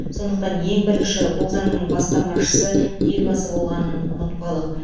сондықтан ең бірінші бұл заңның бастамашысы елбасы болғанын ұмытпалық